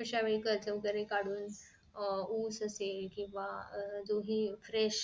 अश्यावेळी कर्ज वैगेरे कडून अं ऊस असेल केंव्हा अह दोघी fresh